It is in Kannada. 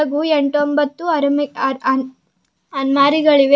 ಹಾಗು ಎಂಟ್ ಒಂಬತ್ತು ಅರುಮೆ- ಆನ್- ಆನ್- ಅಲ್ಮಾರಿಗಳಿವೆ --